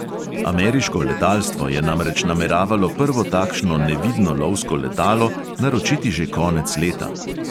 Ameriško letalstvo je namreč nameravalo prvo takšno nevidno lovsko letalo naročiti že konec leta.